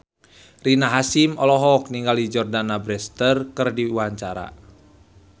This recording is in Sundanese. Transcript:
Rina Hasyim olohok ningali Jordana Brewster keur diwawancara